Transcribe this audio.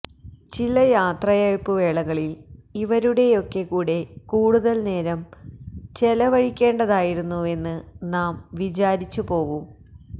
ചില യാത്രയയപ്പു വേളകളിൽ ഇവരുടെയൊക്കെ കൂടെ കൂടുതൽ നേരം ചെലവഴിക്കേണ്ടതായിരുന്നുവെന്ന് നാം വിചാരിച്ചു പോവും